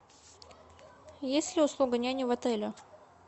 есть ли услуга няни в отеле